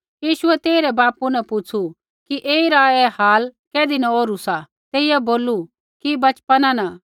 यीशुऐ तेइरै बापू न पुछ़ू कि ऐईरा ऐ हाल कैधी न ओरु सा तेइयै बोलू कि बचपना न